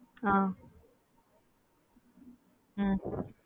அ ஹம்